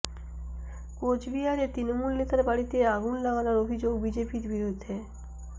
কোচবিহারে তৃণমূল নেতার বাড়িতে আগুন লাগানোর অভিযোগ বিজেপির বিরুদ্ধে